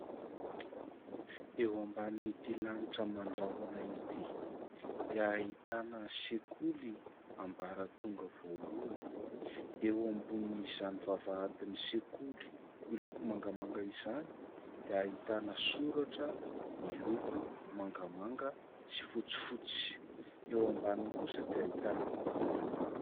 Eo ambanin'ity lanitra mandraoana ity dia ahitana sekoly ambaratonga voalohany, eo ambonin'izany vavahadin'ny sekoly miloko mangamanga izany dia ahitana soratra miloko mangamanga sy fotsifotsy, eo ambaniny kosa dia ahitana olona maro.